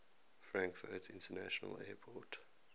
frankfurt international airport